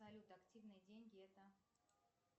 салют активные деньги это